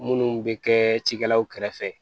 Munnu bɛ kɛ cikɛlaw kɛrɛfɛ